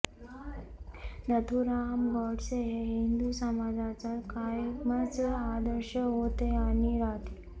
नथुराम गोडसे हे हिंदू समाजाचा कायमच आदर्श होते आणि राहतील